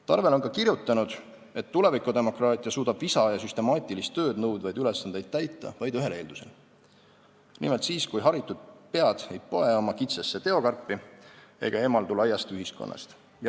Tarvel on ka kirjutanud, et tulevikudemokraatia suudab visa ja süstemaatilist tööd nõudvaid ülesandeid täita vaid ühel eeldusel: nimelt siis, kui haritud pead ei poe oma kitsasse teokarpi ega eemaldu laiast ühiskonnast.